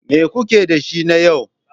Me kuke da shi na yau?